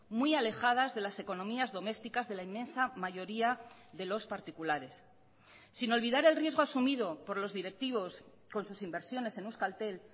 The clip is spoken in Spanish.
muy alejadas de las economías domésticas de la inmensa mayoría de los particulares sin olvidar el riesgo asumido por los directivos con sus inversiones en euskaltel